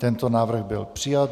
Tento návrh byl přijat.